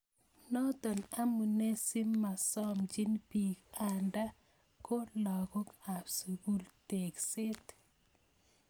Noto amune simasomchin piik anda ko lakok ab sukul tekset